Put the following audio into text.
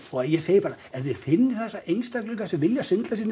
ég segi bara ef þið finnið þessa einstaklinga sem vilja svindla sér inn í